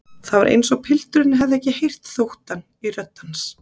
Það var eins og pilturinn hefði ekki heyrt þóttann í rödd hans.